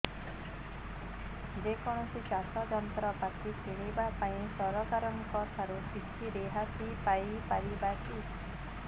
ଯେ କୌଣସି ଚାଷ ଯନ୍ତ୍ରପାତି କିଣିବା ପାଇଁ ସରକାରଙ୍କ ଠାରୁ କିଛି ରିହାତି ପାଇ ପାରିବା କି